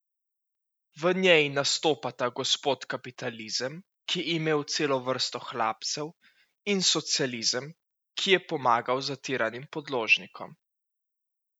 V njej nastopata gospod Kapitalizem, ki je imel celo vrsto hlapcev, in Socializem, ki je pomagal zatiranim podložnikom.